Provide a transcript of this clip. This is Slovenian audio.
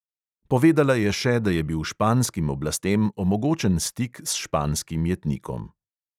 Povedala je še, da je bil španskim oblastem omogočen stik s španskim jetnikom.